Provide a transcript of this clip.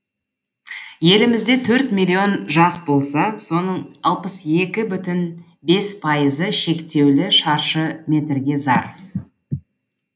елімізде төрт миллион жас болса соның алпыс екі бүтін бес пайызы шектеулі шаршы метрге зар